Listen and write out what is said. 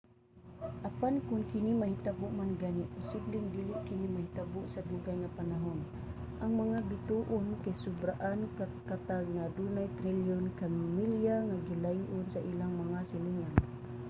apan kon kini mahitabo man gani posibleng dili kini mahitabo sa dugay nga panahon. ang mga bituon kay sobraan ka katag nga adugay trilyon ka milya ang gilay-on sa ilang mga silingan